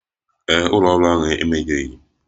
Ee e, ụlọ ọrụ ahụ emegheghi.